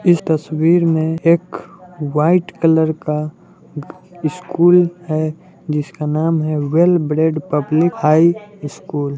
इस तस्वीर मे एक व्हाइट कलर का स्कूल हैं जिस का नाम हैं well bread public high school